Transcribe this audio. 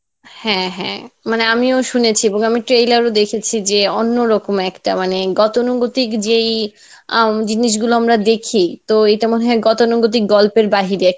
হ্যাঁ হ্যাঁ মানে আমিও শুনেছি এবং trailer ও দেখেছি যে অন্যরকম একটা মানে গতানুগতিক যে এই উম জিনিসগুলো আমরা দেখি তো এটা মনেহয় গতানুগতিক গল্পের বাহিরে